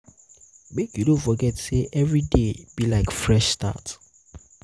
mek you no forget sey evriday be like fresh start.